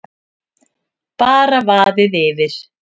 Bara vaðið yfir.